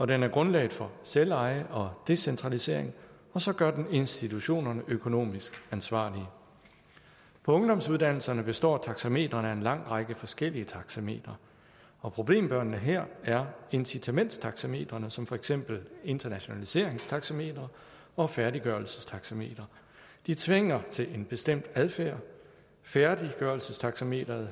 den er grundlaget for selveje og decentralisering og så gør den institutionerne økonomisk ansvarlige på ungdomsuddannelserne består taxametrene af en lang række forskellige taxametre og problembørnene her er incitamentstaxametrene som for eksempel internationaliseringstaxameteret og færdiggørelsestaxameteret de tvinger til en bestemt adfærd færdiggørelsestaxameteret